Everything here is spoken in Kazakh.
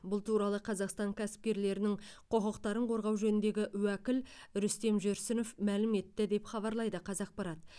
бұл туралы қазақстан кәсіпкерлерінің құқықтарын қорғау жөніндегі уәкіл рүстем жүрсінов мәлім етті деп хабарлайды қазақпарат